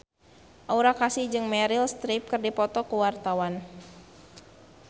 Aura Kasih jeung Meryl Streep keur dipoto ku wartawan